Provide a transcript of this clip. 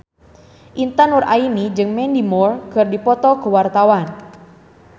Intan Nuraini jeung Mandy Moore keur dipoto ku wartawan